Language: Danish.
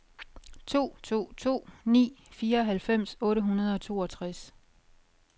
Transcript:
to to to ni fireoghalvfems otte hundrede og toogtres